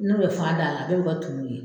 N'o bɛ fan da a la bɛɛ bɛ kɛ tumu ye.